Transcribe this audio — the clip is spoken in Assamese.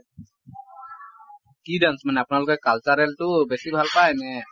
কি dance মানে আপোনালোকে cultural টো বেছি ভাল পায় নে